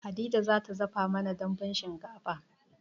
Hadiza za ta dafa mana dambun shinkafa